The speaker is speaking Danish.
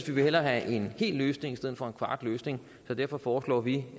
vi vil hellere have en hel løsning i stedet for en kvart løsning så derfor foreslår vi